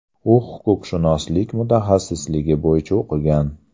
U huquqshunoslik mutaxassisligi bo‘yicha o‘qigan.